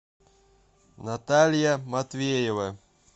наталья матвеева